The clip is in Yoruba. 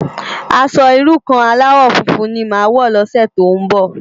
Aṣò irú kàn álàwò fúnfún ni má wò lòsè tó n bò